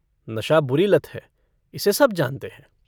नशा बुरी लत है इसे सब जानते हैं।